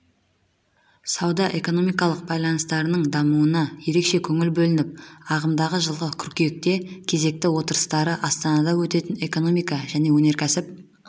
сауда-экономикалық байланыстардың дамуына ерекше көңіл бөлініп ағымдағы жылғы қыркүйекте кезекті отырыстары астанада өтетін экономика және өнеркәсіп